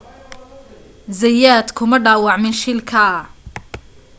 zayat kuma dhaawacmin shilka